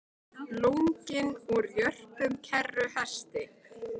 Lunginn úr jörpum kerruhesti